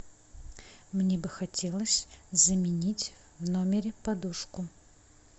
мне бы хотелось заменить в номере подушку